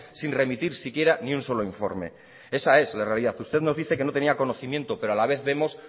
sin remitir si quiera ni un solo informe esa es la realidad usted nos dice que no tenía conocimiento pero a la vez vemos